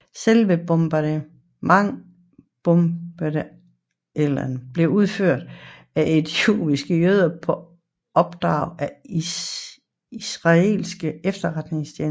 Selve bombeattentaterne blev udført af egyptiske jøder på opdrag af israelsk efterretningstjeneste